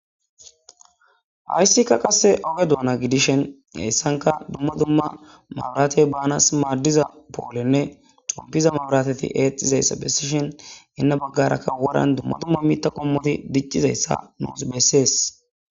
Hayssikka qasse oge doona gidishen heyssanka dumma dumma mabratey banas maaddiza poolenne xompiza mabratati eexxiza issa bessishen hinna baggarakka woran dumma dumma mitha qommoti dicciza issa nuusi bessees.